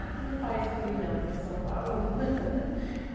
Aqui não faz frio não, que nem São Paulo.